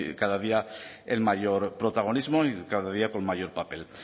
cada día el mayor protagonismo y cada día con mayor papel